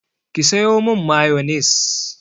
Ki sayo min mayonis!